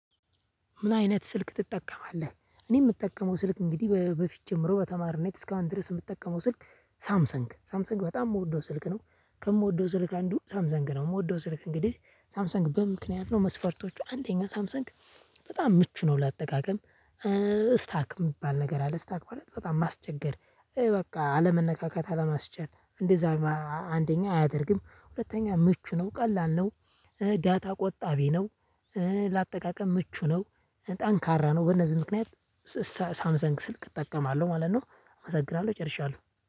ምን አይነት ስልክ ትጠቀማለህ? እኔ የምጠቀመው ስልክ እንግዲህ በፊት ጀምሮ በተማሪነት እስከ አሁን ድረስ የምጠቀመው ስልክ ሳምሰንግ ሳምሰንግ በጣም የምወደው ስልክ ነው ከምወደው ስልክ አንዱ ሳምሰንግ ነው የምወደው ስልክ እንግዲህ ሳምሰንግ በምክንያት ነው መስፈርቶቹ አንደኛ ሳምሰንግ በጣም ምቹ ነው ለአጠቃቀም። እስታክ የሚባል ነገር አለ እስታክ ማለት በጣም ማስቸገር በቃ አለመነካካት አለማስቻል። አንደኛ አያደርግም ሁለተኛ ምቹ ነው ቀላል ነው። ዳታ ቆጣቢ ነው። ለአጠቃቀም ምቹ ነው። ጠንካራ ነው በእነዚህ ምክንያት ስ ሳምሰን ስልክ እጠቀማለሁ ማለት ነው። አመሰግናለሁ ጨርሻለሁ።